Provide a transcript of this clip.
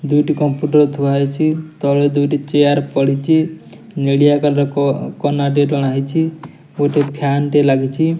ଦୁଇଟି କମ୍ପ୍ୟୁଟର ଥୁଆ ହୋଇଛି। ତଳେ ଚେୟାର ପଡ଼ିଛି। ନିଲିୟ କଲର କନା ଟେ ଟଣା ହୋଇଛି। ଗୋଟେ ଫ୍ୟାନ ଲାଗିଛି।